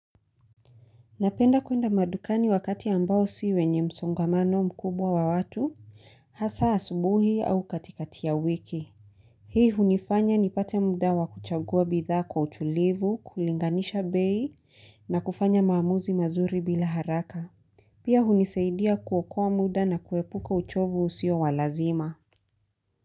Napenda kuenda madukani wakati ambao si wenye msongamano mkubwa wa watu, hasa asubuhi au katikati ya wiki. Hii hunifanya nipate muda wa kuchagua bidhaa kwa utulivu, kulinganisha bei na kufanya maamuzi mazuri bila haraka. Pia hunisaidia kuokoa muda na kuepuka uchovu usiowalazima.